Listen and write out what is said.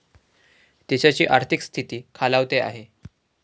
देशाची आर्थिक स्थिती खालावते आहे.